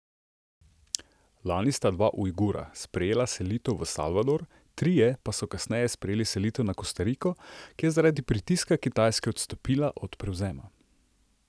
Lani sta dva Ujgura sprejela selitev v Salvador, trije pa so kasneje sprejeli selitev na Kostariko, ki je zaradi pritiska Kitajske odstopila od prevzema.